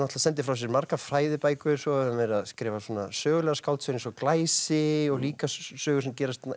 sendir frá sér margar fræðibækur svo hefur hann verið að skrifa sögulegar skáldsögur eins og glæsi og líka sögur sem gerast